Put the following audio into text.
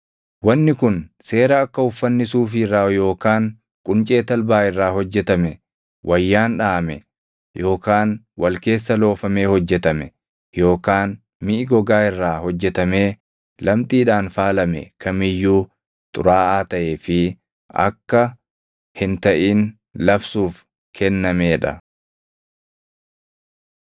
Wanni kun seera akka uffanni suufii irraa yookaan quncee talbaa irraa hojjetame, wayyaan dhaʼame yookaan wal keessa loofamee hojjetame yookaan miʼi gogaa irraa hojjetamee lamxiidhaan faalame kam iyyuu xuraaʼaa taʼee fi akka hin taʼin labsuuf kennamee dha.